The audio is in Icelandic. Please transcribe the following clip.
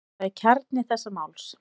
Það er kjarni þessa máls.